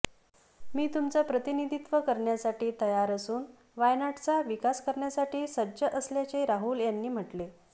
मी तुमचं प्रतिनिधीत्व करण्यासाठी तयार असून वायनाडचा विकास करण्यासाठी सज्ज असल्याचे राहुल यांनी म्हटले